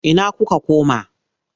Ina kuka koma?